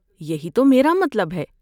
یہی تو میرا مطلب ہے۔